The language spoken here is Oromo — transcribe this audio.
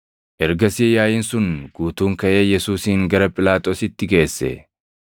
Ergasii yaaʼiin sun guutuun kaʼee Yesuusin gara Phiilaaxoositti geesse.